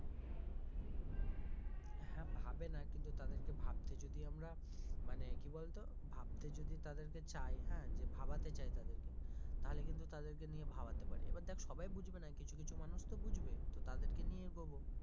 হ্যাঁ ভাবে না কিন্তু তাদেরকে ভাবতে যদি আমরা মানে কি বলতো? ভাবতে যদি তাদেরকে চাই হ্যাঁ যে ভাবাতে চাই তাদেরকে তাহলে কিন্তু তাদেরকে নিয়ে ভাবাতে পারি এবার দেখ সবাই বুঝবে না কিছু কিছু মানুষ তো বুঝবে তো তাদেরকে নিয়ে এগোবে।